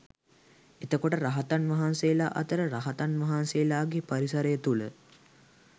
එතකොට රහතන් වහන්සේලා අතර රහතන් වහන්සේලාගේ පරිසරය තුළ